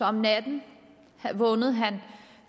om natten vågnede han